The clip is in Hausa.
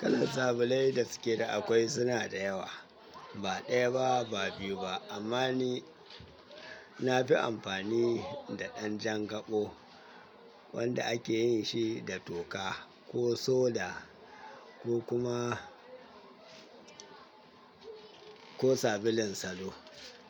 Kalan sabulai da suke da akwai suna da yawa, ba ɗaya ba, ba biyu ba amma ni na fi amfani da ɗan jan gaɓo wanda ake yin shi da toka ko soda ko kuma ko sabulun salo,